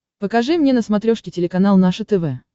покажи мне на смотрешке телеканал наше тв